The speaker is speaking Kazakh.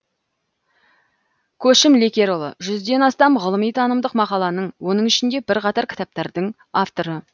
көшім лекерұлы жүзден астам ғылыми танымдық мақаланың оның ішінде бірқатар кітаптардың авторы